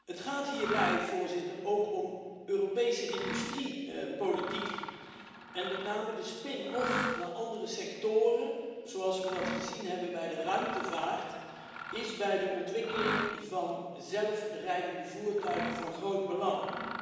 Het gaat hierbij ook om Europees industriebeleid, en met name de spin off naar andere sectoren, zoals we dat gezien hebben bij de ruimtevaart, is bij de ontwikkeling van zelfrijdende voertuigen van groot belang.